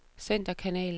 centerkanal